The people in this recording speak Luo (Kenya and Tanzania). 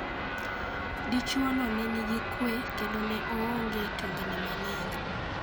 Dichuono nenigi kwe kendo neoonge tungni mang'eny.